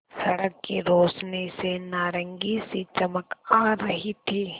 सड़क की रोशनी से नारंगी सी चमक आ रही थी